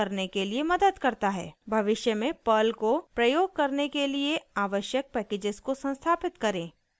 भविष्य में पर्ल को प्रयोग करने के लिए आवश्यक पैकेजेस को संस्थापित करें